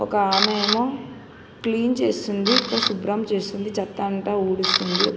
ఒక ఆమె ఏమో క్లీన్ చేస్తుంది ఇక్కడ శుభ్రం చేస్తుంది చెత్త అంత ఉడుస్తుంది.